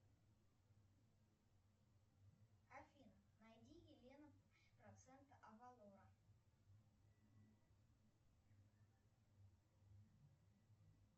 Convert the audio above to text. афина найди елена процента авалора